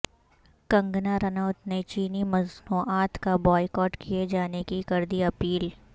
کنگنا رانوت نے چینی مصنوعات کا بائیکاٹ کئے جانے کی کردی اپیل